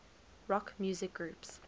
rock music groups